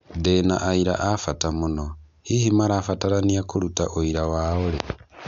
Ndĩ na aira a bata mũno , hihi marabataranĩa kuruta ũira wao rĩ?